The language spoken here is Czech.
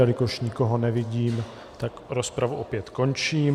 Jelikož nikoho nevidím, tak rozpravu opět končím.